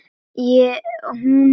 Úti sat und hvítum